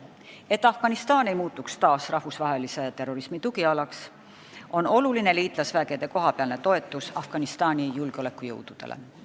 Et Afganistan ei muutuks taas rahvusvahelise terrorismi tugialaks, on oluline liitlasvägede kohapealne toetus Afganistani julgeolekujõududele.